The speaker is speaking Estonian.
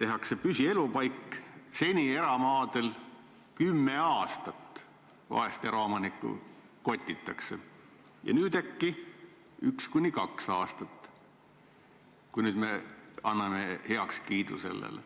tehakse talle püsielupaik, siis seni on eramaadel vahest 10 aastat eraomanikku kotitud, nüüd aga äkki 1–2 aastat, kui nüüd sellele heakskiidu anname.